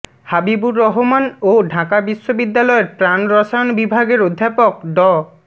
হাবিবুর রহমান ও ঢাকা বিশ্ববিদ্যালয়ের প্রাণ রসায়ন বিভাগের অধ্যাপক ড